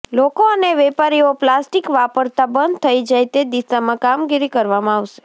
લોકો અને વેપારીઓ પ્લાસ્ટિક વાપરતા બંધ થઇ જાય તે દિશામાં કામગીરી કરવામાં આવશે